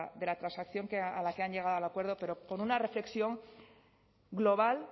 de la transacción a la que han llegado al acuerdo pero con una reflexión global